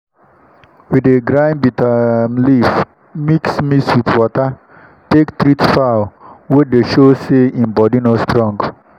we dey grind bitter um leaf mix mix wit water take treat fowl wey dey sho say in body no strong.